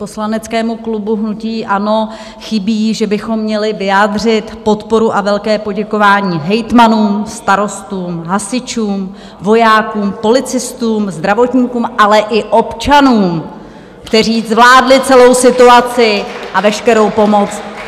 Poslaneckému klubu hnutí ANO chybí, že bychom měli vyjádřit podporu a velké poděkování hejtmanům, starostům, hasičům, vojákům, policistům, zdravotníkům, ale i občanům, kteří zvládli celou situaci a veškerou pomoc.